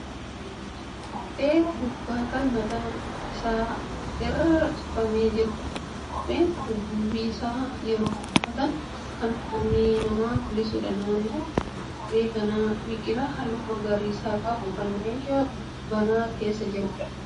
Kophee durbaa kan mataan isaa irra cufamee jirudha. Kopheen kun duubi isaa yeroo uffatan kan koomee namaa mul'isuudha. Naannoo kophee kanaa biqilaa halluu magariisa qabu kan meeshaa banaa keessa jiruudha.